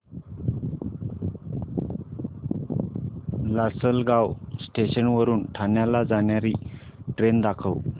Lasalgaon station वरून ठाण्याला जाणारी ट्रेन दाखव